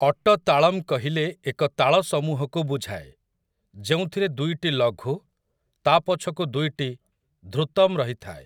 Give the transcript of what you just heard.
ଅଟ ତାଳମ୍ କହିଲେ ଏକ ତାଳସମୂହକୁ ବୁଝାଏ, ଯେଉଁଥିରେ ଦୁଇଟି ଲଘୁ, ତା' ପଛକୁ ଦୁଇଟି ଧୃତମ୍ ରହିଥାଏ ।